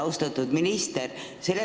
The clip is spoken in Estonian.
Austatud minister!